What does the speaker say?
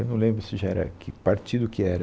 Eu não lembro se já era, que partido que era.